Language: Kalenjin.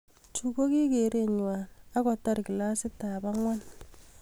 Chu koki keret ngwai akotar kilasitab angwan